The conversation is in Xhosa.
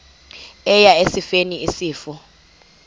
eya esifeni isifo